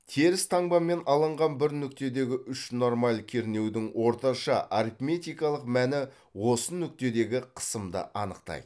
теріс таңбамен алынған бір нүктедегі үш нормаль кернеудің орташа арифметикалық мәні осы нүктедегі қысымды анықтайды